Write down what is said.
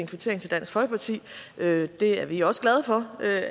kvittering til dansk folkeparti det er vi også glade for